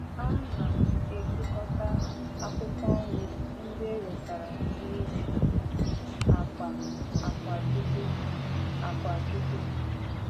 Ana m ekekọta akwụkwọ nri ndị e wetara n'ime akpa akwa jute. akwa jute.